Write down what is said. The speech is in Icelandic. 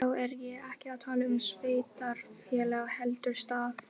Þessi gripur verður til aðdáunar um margar aldir